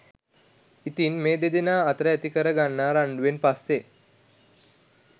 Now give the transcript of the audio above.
ඉතින් මේ දෙදෙනා අතර ඇතිකර ගන්නා රණ්ඩුවෙන් පස්සෙ